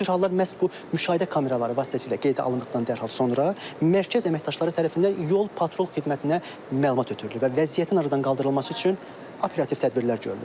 Bu cür hallar məhz bu müşahidə kameraları vasitəsilə qeydə alındıqdan dərhal sonra mərkəz əməkdaşları tərəfindən yol-patrul xidmətinə məlumat ötürülür və vəziyyətin aradan qaldırılması üçün operativ tədbirlər görünür.